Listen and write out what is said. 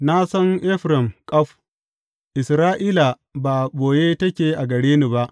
Na san Efraim ƙaf; Isra’ila ba a ɓoye take a gare ni ba.